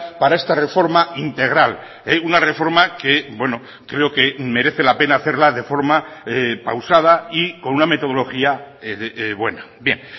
para esta reforma integral una reforma que creo que merece la pena hacerla de forma pausada y con una metodología buena bien